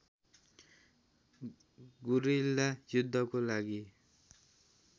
guerrilla युद्धको लागि